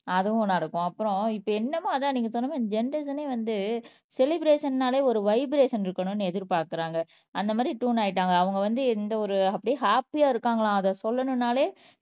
அதுவும் நடக்கும் அப்புறம் இப்ப என்னமோ அதான் நீங்க சொன்ன மாதிரி ஜெனெரேஷனே வந்து செலிப்ரஷன்னாலே ஒரு வைப்ரஷன் இருக்கணும்ன்னு எதிர்பாக்குறாங்க அந்த மாதிரி ட்யூன் ஆயிட்டாங்க அவங்க வந்து எந்த ஒரு அப்படியே ஹாப்பியா இருக்காங்களாம் அதை சொல்லணும்னாலே